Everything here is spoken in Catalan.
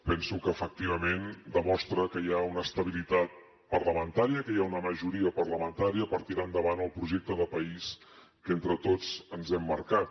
penso que efectivament demostra que hi ha una estabilitat parlamentària que hi ha una majoria parlamentària per tirar endavant el projecte de país que entre tots ens hem marcat